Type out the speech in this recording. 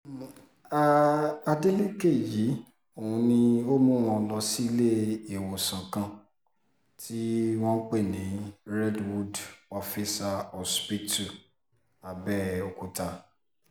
um adeleke yìí oun ni ó mú wọn lọ síléèwọ̀sán kan tí wọ́n ń pè ní redwood officer hospital abeokuta